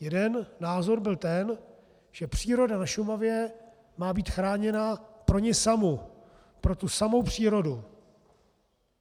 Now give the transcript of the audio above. Jeden názor byl ten, že příroda na Šumavě má být chráněna pro ni samu, pro tu samou přírodu.